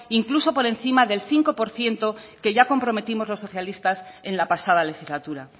incluso por encima del cinco por ciento que ya comprometimos los socialistas en la pasada legislatura